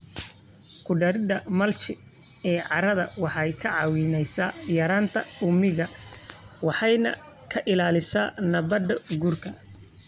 Ku darida mulch ee carrada waxay kaa caawinaysaa yaraynta uumiga waxayna ka ilaalisaa nabaad-guurka.